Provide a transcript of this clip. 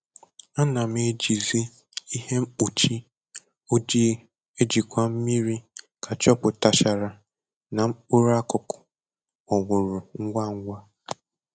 Ana m ejizi ihe mkpuchi ojii ejikwa mmiri ka chọpụtachara na mkpụrụ akụkụ kpọnwụrụ ngwa ngwa